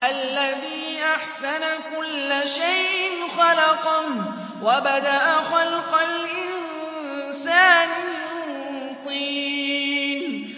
الَّذِي أَحْسَنَ كُلَّ شَيْءٍ خَلَقَهُ ۖ وَبَدَأَ خَلْقَ الْإِنسَانِ مِن طِينٍ